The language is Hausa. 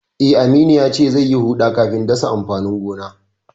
Eh, Aminu yace zai yi huɗa kafin dasa amfanin gona.